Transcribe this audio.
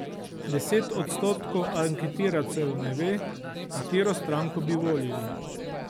Deset odstotkov anketirancev ne ve, katero stranko bi volili.